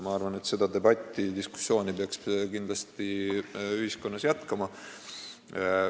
Ma arvan, et seda diskussiooni peaks kindlasti ühiskonnas jätkama.